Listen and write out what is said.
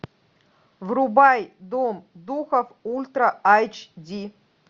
врубай дом духов ультра эйч ди